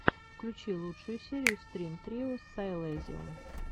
включи лучшую серию стрин трио сайлэнзиум